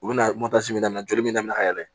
U bɛna minɛ daminɛ joli min ka yɛlɛ